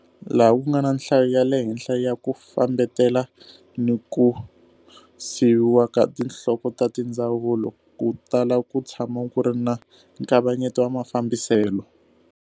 Laha ku nga na nhlayo ya le henhla ya ku fambetela na ku siviwa ka tinhloko ta tindzawulo, ku tala ku tshama ku ri na nkavanyeto wa mafambiselo.